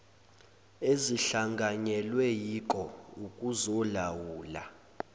ezihlanganyelwe yiko okuzolawula